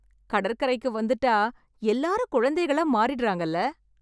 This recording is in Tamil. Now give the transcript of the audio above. கடற்கரைக்கு வந்துட்டா எல்லாரும் குழந்தைகளா மாறிடுறாங்கல்ல.